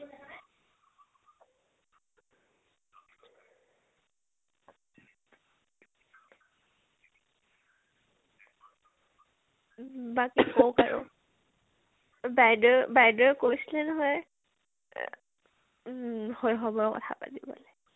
বাকী কৌক আৰু ? বাইদেও বাইদৱে কৈছিলে নহয় আ উম সৈশৱৰ কথা পাতিবলে